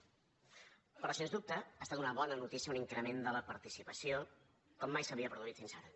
però sens dubte ha estat una bona notícia un increment de la participació com mai s’havia produït fins ara